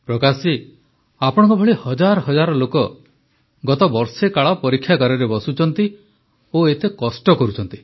ପ୍ରକାଶ ଜୀ ଆପଣଙ୍କ ଭଳି ହଜାର ହଜାର ଲୋକ ଗତ ବର୍ଷେକାଳ ପରୀକ୍ଷାଗାରରେ ବସୁଛନ୍ତି ଓ ଏତେ କଷ୍ଟ କରୁଛନ୍ତି